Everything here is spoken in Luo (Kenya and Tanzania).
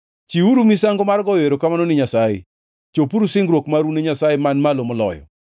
Chiwuru misango mar goyo erokamano ni Nyasaye, chopuru singruok mau ne Nyasaye Man Malo Moloyo,